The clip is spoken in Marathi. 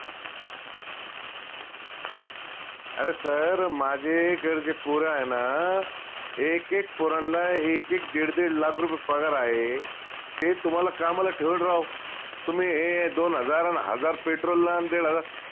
अरे sir माझे इकडचे पोर आहे ना एक एक पोरांना एक एक दीड दीड lakh रुपये पगार आहे ते तुम्हाला कामाला ठेवलं राव तुम्ही हे दोन हजार न हजार petrol ला न दीड हजार